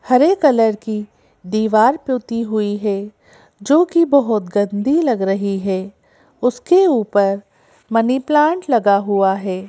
हरे colour की दीवार पुती हुई है जो कि बहुत गंदी लग रही है उसके ऊपर मनी प्लांट लगा हुआ है।